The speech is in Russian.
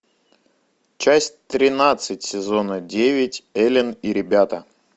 часть тринадцать сезона девять элен и ребята